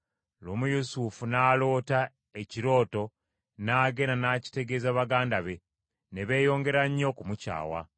Lumu Yusufu n’aloota ekirooto, n’agenda n’akitegeeza baganda be, ne beeyongera nnyo okumukyawa.